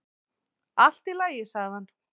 """Allt í lagi, sagði hann."""